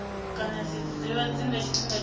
kana zwidzidzivhadzi nga tshifhinga tsha